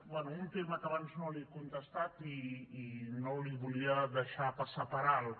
bé un tema que abans no li he contestat i no li volia deixar passar per alt